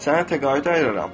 Sənə təqaüd ayırıram.